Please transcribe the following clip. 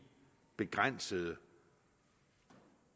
begrænsede